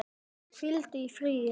Hvíldu í friði, elsku bróðir.